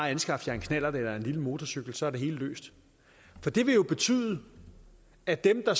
anskaffe sig en knallert eller en lille motorcykel og så er det hele løst det vil jo betyde at dem der